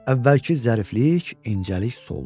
Əvvəlki zəriflik, incəlik soldu.